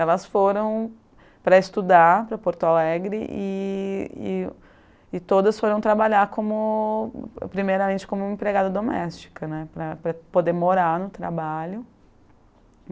Elas foram para estudar para Porto Alegre e e e todas foram trabalhar primeiramente como empregada doméstica né, para poder morar no trabalho.